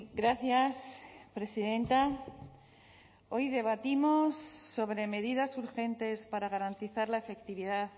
gracias presidenta hoy debatimos sobre medidas urgentes para garantizar la efectividad